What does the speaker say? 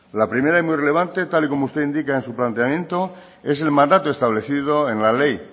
la primera y muy relevante tal y como usted indica en su planteamiento es el mandato establecido en la ley